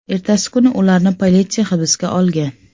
Ertasi kuni ularni politsiya hibsga olgan.